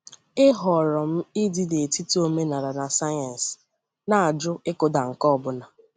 E họ̀rọ̀ m ịdị n’etiti omenala na sayensị, na-ajụ ịkụda nke ọ bụla.